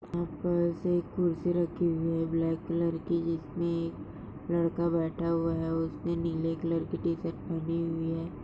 यहाँ पर से एक कुर्सी रखी हुई है ब्लॅक कलर की जिसमे लड़का बैटा हुआ है उसने नीले कलर कि टीशर्ट पहनी हुई है।